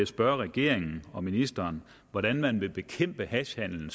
spørge regeringen og ministeren hvordan man så vil bekæmpe hashhandelen